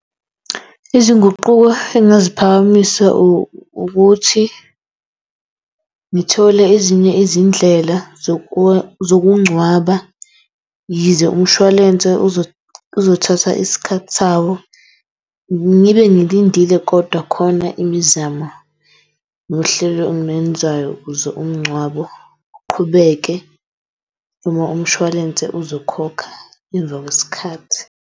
Izinguquko engazi phakamisa ukuthi ngithole ezinye izindlela zokungcwaba yize umshwalense uzothatha isikhathi sawo ngibe ngilindile kodwa khona imizamo nohlelo ukuze umngcwabo uqhubeke uma umshwalense uzokhokha emva kwesikhathi.